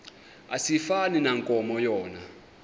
asifani nankomo yona